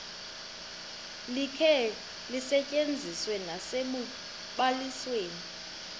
likhe lisetyenziswe nasekubalisweni